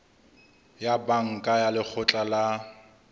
ya banka ya lekgotla la